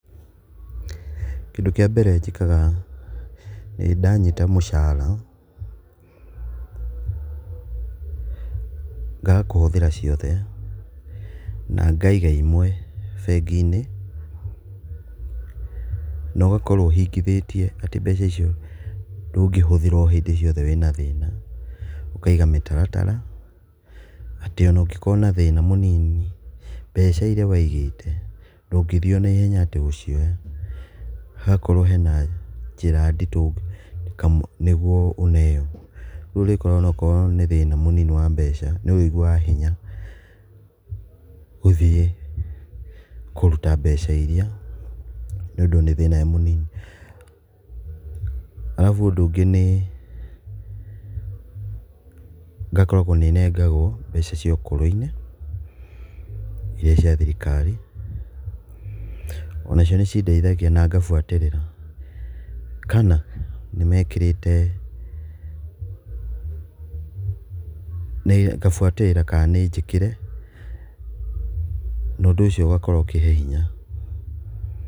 Kĩndũ kĩa mbere njĩkaga nĩ ndanyita mũcara ngaga kũhũthĩra ciothe na ngaiga imwe bengi-inĩ nogakorwo ũhingithĩtie atĩ mbeca icio ndũngĩhũthira o hĩndĩ ciothe wĩna thĩna, ũkaiga mĩtaratara, atĩ ona ũngĩkorwo na thĩna mũnini mbeca iria waigĩte, ndũngĩthie onaihenya atĩ gũcioya hagakorwo hena njĩra nditũ nĩguo ũneo, rĩu ũrĩkoraga onakorwo nĩ thĩna mũnini wa mbeca nĩũrĩiguaga hinya gũthiĩ, kũruta mbeca iria nĩũndũ nĩ thĩna mũnini. Arabu ũndũ ũngĩ nĩ ngakoragwo nĩ nengagwo mbeca cia ũkũrũ-inĩ iria cia thirikari. Onacio nĩcindeithagia na ngabuatĩrĩra kana nĩmekĩrĩte nĩ ngabuatĩrĩra kaa nĩnjĩkĩre nondũ ũcio ũgakorwo ũkĩhe hinya.